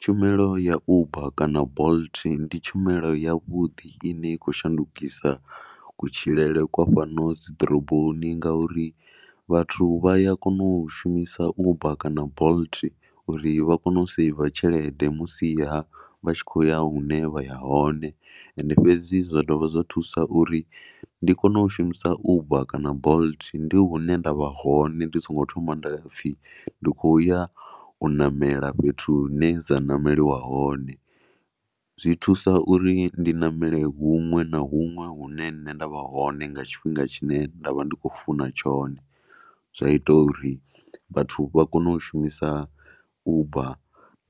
Tshumelo ya Uber kana Bolt ndi tshumelo yavhuḓi i ne i khou shandukisa kutshilele kwa fhano ḓoroboni ngauri vhathu vha ya kona u shumisa Uber kana Bolt uri vha kone u saiva tshelede musiha vha tshi khou ya hune vha ya hone. Ende fhedzi zwa dovha zwa thusa uri ndi kone u shumisa Uber kana Bolt ndi hune nda vha hone ndi songo thoma ha pfhi ndi khou ya u ṋamela fhethu hune dza ṋameliwa hone. Zwi thusa uri ndi ṋamele huṅwe na huṅwe hune nṋe nda vha hone nga tshifhinga tshine nda vha ndi khou funa tshone zwa ita uri vhathu vha kone u shumisa Uber